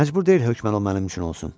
Məcbur deyil hökmən o mənim üçün olsun.